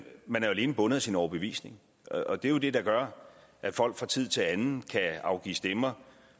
alene bundet af sin overbevisning det er jo det der gør at folk fra tid til anden kan afgive stemmer